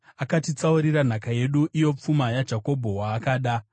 Akatitsaurira nhaka yedu, iyo pfuma yaJakobho, waakada. Sera